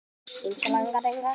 Enginn gleymir Siggu ömmu.